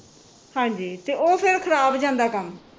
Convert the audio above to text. ਹਾਂਜੀ ਤੇ ਉਹ ਫਿਰ ਖਰਾਬ ਜਾਂਦਾ ਕੰਮ